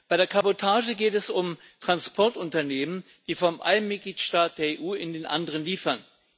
Bei der Kabotage geht es um Transportunternehmen, die vom einen Mitgliedstaat der EU in den anderen liefern.